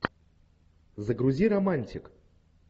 загрузи романтик